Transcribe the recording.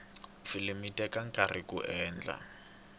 filimi yi teka nkarhi kuyi endla